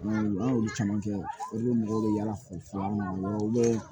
An y'olu caman kɛ olu mɔgɔw bɛ yaala olu bɛ